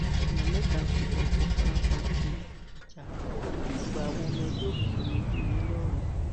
èèyàn mẹta kú ọpọ fara pa níbi ìjà àgbà àwọn ọmọ ẹgbẹ òkùnkùn ńìlọrin